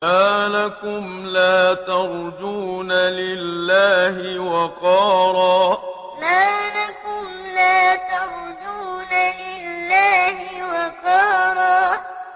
مَّا لَكُمْ لَا تَرْجُونَ لِلَّهِ وَقَارًا مَّا لَكُمْ لَا تَرْجُونَ لِلَّهِ وَقَارًا